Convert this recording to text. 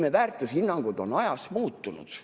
Meie väärtushinnangud on ajas muutunud.